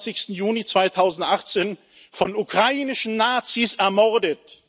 23. Juni 2018 von ukrainischen Nazis ermordet.